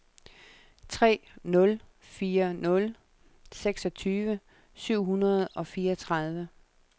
tre nul fire nul seksogtyve syv hundrede og fireogtredive